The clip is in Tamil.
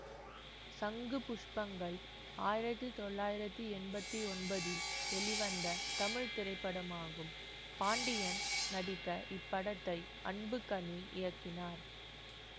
சங்கு புஷ்பங்கள் ஆயிரத்தி தொள்ளாயிரத்தி எம்பத்தி ஒன்பதில் வெளிவந்த தமிழ் திரைப்படமாகும் பாண்டியன் நடித்த இப்படத்தை அன்புகனி இயக்கினார்